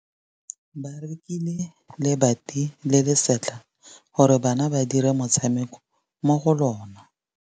Ba rekile lebati le le setlha gore bana ba dire motshameko mo go lona.